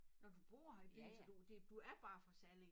Nå du bor her i byen så du det du er bare fra Salling